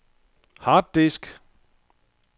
harddisk